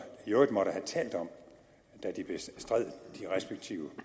i øvrigt måtte have talt om da de bestred de respektive